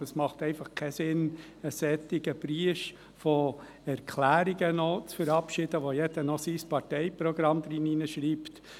Aber es macht einfach keinen Sinn, zusätzlich eine solche Menge an Erklärungen zu verabschieden, mit denen jeder noch sein Parteiprogramm hinein schreibt.